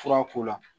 Fura ko la